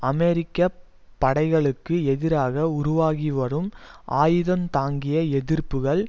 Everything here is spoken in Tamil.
அமெரிக்க படைகளுக்கு எதிராக உருவாகிவரும் ஆயுதம் தாங்கிய எதிர்ப்புக்கள்